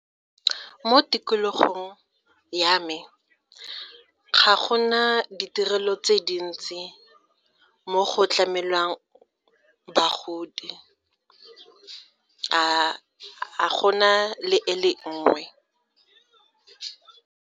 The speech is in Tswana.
Mo tikologong ya me, ga go na ditirelo tse dintsi mo go tlamelwang bagodi a go na le e le nngwe.